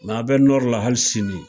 Mɛ a bɛ la hali sini